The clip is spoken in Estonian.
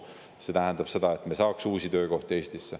Selle abil me saaks Eestisse uusi töökohti.